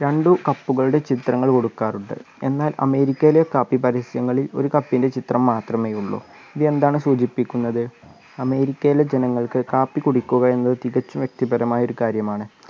രണ്ടു cup കളുടെ ചിത്രങ്ങൾ കൊടുക്കാറുണ്ട് എന്നാൽ അമേരിക്കയിലെ കാപ്പി പരസ്യങ്ങളിൽ ഒരു cup ൻ്റെ ചിത്രം മാത്രമെയുള്ളൂ ഇത് എന്താണ് സൂചിപ്പിക്കുന്നത് അമേരിക്കയിലെ ജനങ്ങൾക്ക് കാപ്പി കുടിക്കുക എന്നത് തികച്ചും വ്യക്തിപരമായ ഒരു കാര്യമാണ്